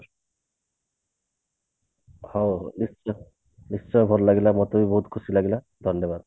ହଉ ନିଶ୍ଚିନ୍ତ ନିଶ୍ଚୟ ଭଲ ଲାଗିଲା ମତେ ବି ବହୁତ ଖୁସି ଲାଗିଲା ଧନ୍ଯ ବାଦ